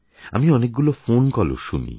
আমি অনেকগুলি ফোনকলও শুনি